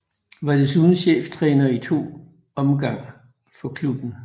Var desuden cheftræner i to omgang for klubben